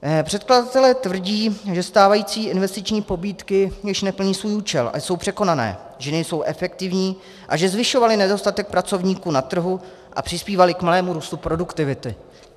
Předkladatelé tvrdí, že stávající investiční pobídky již neplní svůj účel a jsou překonané, že nejsou efektivní a že zvyšovaly nedostatek pracovníků na trhu a přispívaly k malému růstu produktivity.